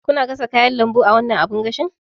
Kuna gasa kayan lambu a wannan abin gashin?